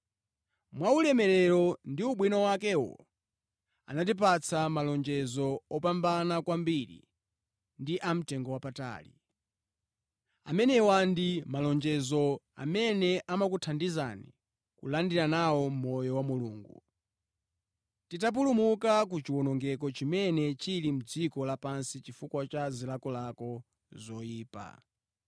Mwa ulemerero ndi ubwino wakewo, anatipatsa malonjezo opambana kwambiri ndi a mtengowapatali. Amenewa ndi malonjezo amene amakuthandizani kulandira nawo moyo wa Mulungu, titapulumuka ku chiwonongeko chimene chili mʼdziko lapansi chifukwa cha zilakolako zoyipa.